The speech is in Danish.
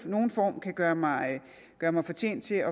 nogen form kan gøre mig gøre mig fortjent til